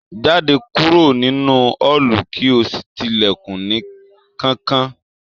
Jáde kúrò nínú ọọlú kí o sí tí ilẹkùn ní kánkán!